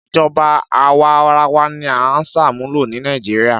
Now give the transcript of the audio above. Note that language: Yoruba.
Ìjọba àwarawa ni a ń ṣàmúlò ni Nàìjíríà.